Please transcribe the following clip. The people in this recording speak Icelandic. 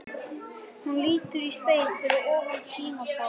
Hún lítur í spegil fyrir ofan símaborðið.